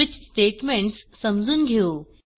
switch statements समजून घेऊ